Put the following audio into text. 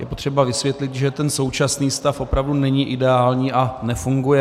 Je potřeba vysvětlit, že ten současný stav opravdu není ideální a nefunguje.